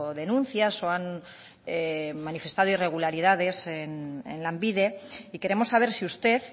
denuncias o han manifestado irregularidades en lanbide y queremos saber si usted